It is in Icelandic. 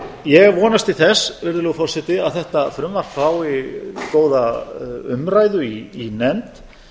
ég vonast til þess virðulegi forseti að þetta frumvarp fái góða umræðu í nefnd